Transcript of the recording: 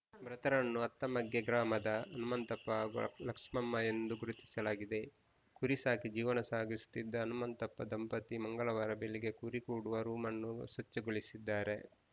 ಮೃತರನ್ನು ಅತ್ತಮಗ್ಗೆ ಗ್ರಾಮದ ಹನುಮಂತಪ್ಪ ಹಾಗೂ ಲಕ್ಷ್ಮಮ್ಮ ಎಂದು ಗುರುತಿಸಲಾಗಿದೆ ಕುರಿ ಸಾಕಿ ಜೀವನ ಸಾಗಿಸುತ್ತಿದ್ದ ಹನುಮಂತಪ್ಪ ದಂಪತಿ ಮಂಗಳವಾರ ಬೆಳಿಗ್ಗೆ ಕುರಿ ಕೂಡುವ ರೂಮ್ ನ್ನು ಸ್ವಚ್ಛಗೊಳಿಸಿದ್ದಾರೆ